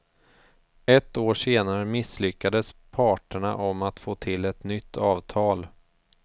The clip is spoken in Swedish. Ett år senare misslyckades parterna om att få till ett nytt avtal.